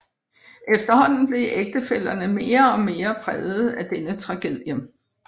Efterhånden blev ægtefællerne mere og mere præget af denne tragedie